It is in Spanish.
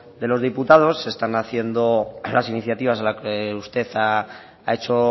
de los diputados están haciendo las iniciativas a la que usted ha hecho